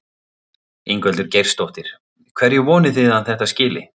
Ingveldur Geirsdóttir: Hverju vonið þið að þetta skili?